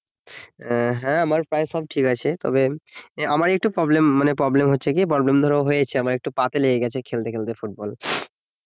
আহ হ্যাঁ আমার প্রায় সব ঠিক আছে তবে আমার একটু problem মানে problem হচ্ছে কি problem ধরো হয়েছে আমার একটু পা তে লেগে গেছে খেলতে খেলতে ফুটবল